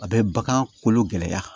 A bɛ bagan kolo gɛlɛya